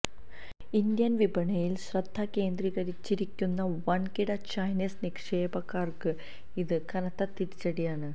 Indian വിപണിയിൽ ശ്രദ്ധ കേന്ദ്രീകരിച്ചിരിക്കുന്ന വൻകിട ചൈനീസ് നിക്ഷേപകർക്ക് ഇത് കനത്ത തിരിച്ചടിയാണ്